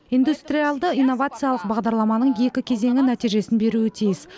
индустриалды инновациялық бағдарламаның екі кезеңі нәтижесін беруі тиіс